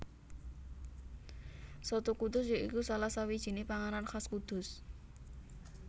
Soto Kudus ya iku salah sawijiné panganan khas Kudus